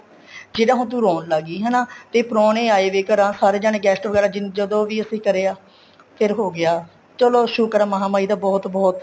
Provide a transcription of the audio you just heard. ਜਿਹੜਾ ਹੁਣ ਤੂੰ ਰੋਣ ਲੱਗ ਗਈ ਹੈਨਾ ਤੇ ਪਰੋਨੇ ਆਏ ਵੇ ਘਰਾਂ ਸਾਰੇ ਜਾਣੇ guest ਵਗੈਰਾ ਜਦੋਂ ਵੀ ਅਸੀਂ ਕਰਿਆ ਫ਼ੇਰ ਹੋ ਗਿਆ ਚਲੋ ਸ਼ੁਕਰ ਆ ਮਹਾਮਾਹੀ ਦਾ ਬਹੁਤ ਬਹੁਤ